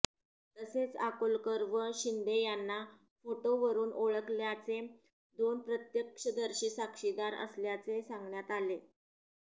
तसेच अकोलकर व शिंदे यांना फोटोवरुन ओळखल्याचे दोन प्रत्यक्षदर्शी साक्षीदार असल्याचे सांगण्यात आले